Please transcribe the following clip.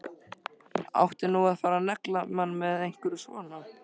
Átti nú að fara að negla mann með einhverju svona?